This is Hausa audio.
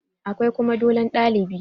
Akwai kuma dolon ɗalibi